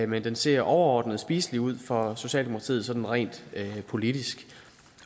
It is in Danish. men den ser overordnet spiselig ud for socialdemokratiet sådan rent politisk